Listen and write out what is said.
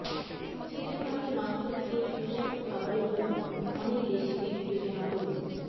chicken মাটির মাংস থেকে সুস্বাদু খাবারের জন্য অনেক রেসিপি বিবেচনা করুন